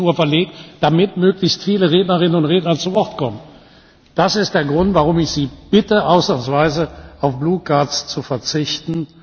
13.00 Uhr verlegt, damit möglichst viele Rednerinnen und Redner zu Wort kommen. Das ist der Grund, warum ich Sie bitte, ausnahmsweise auf blaue Karten zu verzichten.